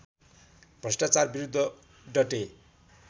भ्रष्टाचार विरुद्ध डटे